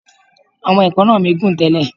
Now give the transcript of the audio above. Àwọn èékánná mi gùn tẹ́lẹ̀.